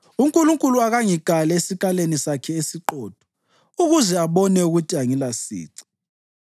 uNkulunkulu akangikale esikalini sakhe esiqotho ukuze abone ukuthi angilasici,